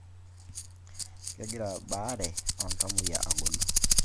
Kegira baare oltamuoyia agolu